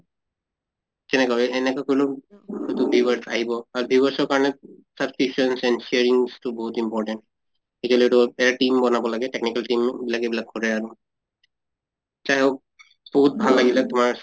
কেনেকা অহ এনেকা কৰিলে তো viewers আহিব আৰু viewers ৰ কাৰণে subscriptions and sharing তো বহুত important এ team বনাব লাগে, technical team বিলাক এইবিলাক কৰে আৰু। যেই হওঁক বহুত ভাল লাগিলে তোমাৰ